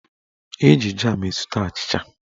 Eji jam esute achịcha.